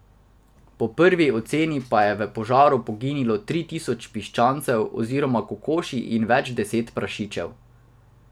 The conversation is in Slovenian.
Po prvi oceni pa je v požaru poginilo tri tisoč piščancev oziroma kokoši in več deset prašičev.